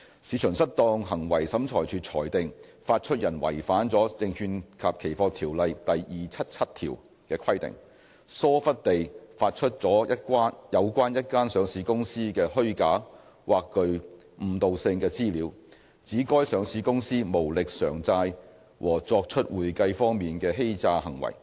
市場失當行為審裁處裁定，發出人違反了《證券及期貨條例》第277條的規定，疏忽地發出了有關一家上市公司的虛假或具誤導性的資料，指該上市公司無力償債和作出會計方面的欺詐行為。